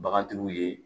Bagantigiw ye